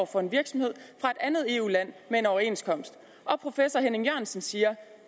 for en virksomhed fra et andet eu land med en overenskomst og professor henning jørgensen siger